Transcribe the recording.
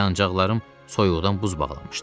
Yanacağlarım soyuqdan buz bağlamışdı.